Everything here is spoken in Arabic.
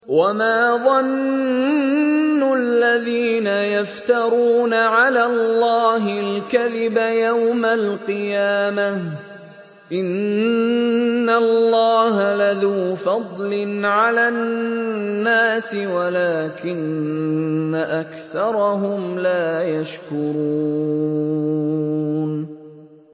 وَمَا ظَنُّ الَّذِينَ يَفْتَرُونَ عَلَى اللَّهِ الْكَذِبَ يَوْمَ الْقِيَامَةِ ۗ إِنَّ اللَّهَ لَذُو فَضْلٍ عَلَى النَّاسِ وَلَٰكِنَّ أَكْثَرَهُمْ لَا يَشْكُرُونَ